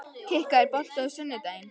Kikka, er bolti á sunnudaginn?